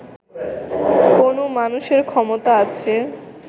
কোনও মানুষের ক্ষমতা আছে